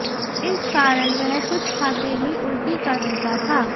इस कारण वह कुछ खाते ही उल्टी कर देता था